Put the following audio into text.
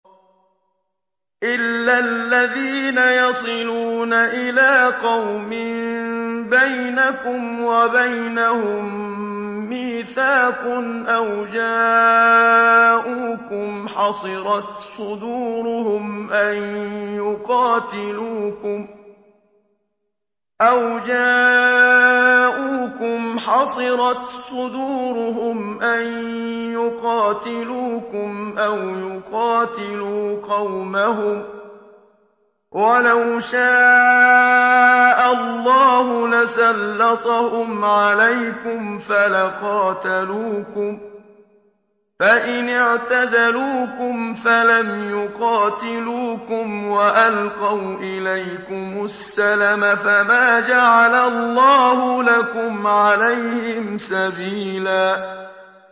إِلَّا الَّذِينَ يَصِلُونَ إِلَىٰ قَوْمٍ بَيْنَكُمْ وَبَيْنَهُم مِّيثَاقٌ أَوْ جَاءُوكُمْ حَصِرَتْ صُدُورُهُمْ أَن يُقَاتِلُوكُمْ أَوْ يُقَاتِلُوا قَوْمَهُمْ ۚ وَلَوْ شَاءَ اللَّهُ لَسَلَّطَهُمْ عَلَيْكُمْ فَلَقَاتَلُوكُمْ ۚ فَإِنِ اعْتَزَلُوكُمْ فَلَمْ يُقَاتِلُوكُمْ وَأَلْقَوْا إِلَيْكُمُ السَّلَمَ فَمَا جَعَلَ اللَّهُ لَكُمْ عَلَيْهِمْ سَبِيلًا